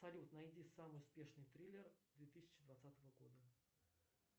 салют найди самый успешный триллер две тысячи двадцатого года